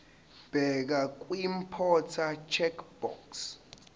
bheka kwiimporter checkbox